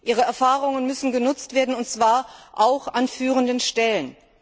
Ihre Erfahrungen müssen genutzt werden und zwar auch an führenden Stellen.